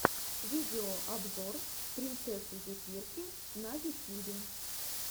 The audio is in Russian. видеообзор принцессы зефирки на ютьюбе